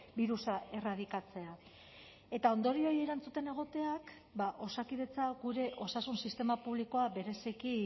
birusa erradikatzea eta ondorioei erantzuten egoteak ba osakidetza gure osasun sistema publikoa bereziki